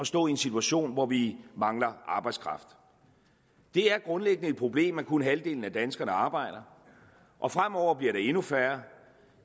stå i en situation hvor vi mangler arbejdskraft det er grundlæggende et problem at kun halvdelen af danskerne arbejder og fremover bliver det endnu færre